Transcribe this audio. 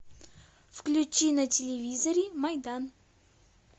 включи на телевизоре майдан